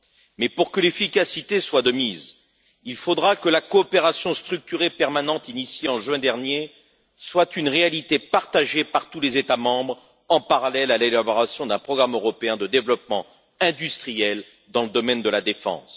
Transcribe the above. Mais, pour que l'efficacité soit de mise, il faudra que la coopération structurée permanente lancée en juin dernier soit une réalité partagée par tous les États membres, en parallèle à l'élaboration d'un programme européen de développement industriel dans le domaine de la défense.